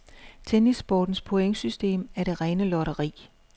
Tennissportens pointsystem er det rene lotteri.